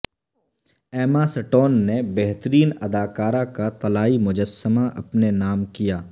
ایما Stone نے بہترین اداکارہ کا طلائی مجسمہ اپنے نام کیا